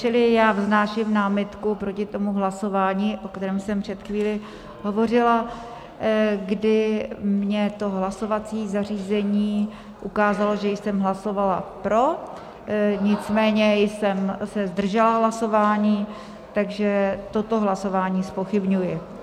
Čili já vznáším námitku proti tomu hlasování, o kterém jsem před chvílí hovořila, kdy mě to hlasovací zařízení ukázalo, že jsem hlasovala pro, nicméně jsem se zdržela hlasování, takže toto hlasování zpochybňuji.